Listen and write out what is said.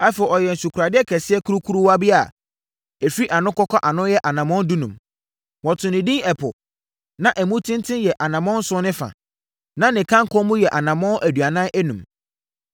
Afei, ɔyɛɛ nsukoradeɛ kɛseɛ kurukuruwa bi a ɛfiri ano kɔka ano yɛ anammɔn dunum. Wɔtoo no edin Ɛpo. Na emu tenten yɛ anammɔn nson ne fa, na ne kanko mu yɛ anammɔn aduanan enum.